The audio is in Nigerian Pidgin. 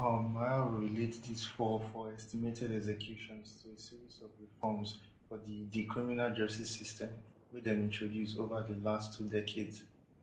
um miao relate dis fall for estimated executions to a series of reforms for di di criminal justice system wey dem introduce ova di last two decades